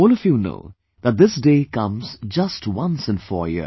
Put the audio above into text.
All of you know that this day comes just once in four years